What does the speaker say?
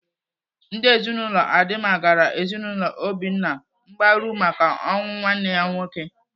Ndị ezinaụlọ Adima gara ezinaụlọ Obinna mgbaru maka ọnwụ nwanne ya nwoke.